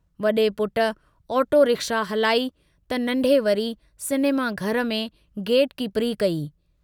वडे़ पुट auto rickshaw हलाई त नन्ढे वरी सिनेमा घर में गेटकीपरी कई।